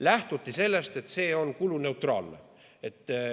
Lähtuti sellest, et see on kuluneutraalne.